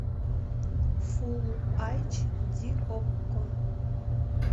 фулл айч ди окко